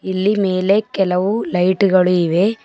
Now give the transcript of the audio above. ಇಲ್ಲಿ ಮೇಲೆ ಕೆಲವು ಲೈಟ್ ಗಳು ಇವೆ.